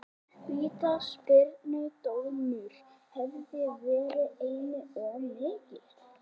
Vítaspyrnudómur hefði verið einum of mikið.